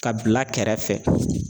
Ka bila kɛrɛfɛ